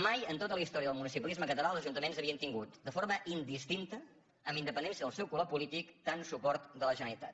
mai en tota la història del municipalisme català els ajuntaments havien tingut de forma indistinta amb independència del seu color polític tant suport de la generalitat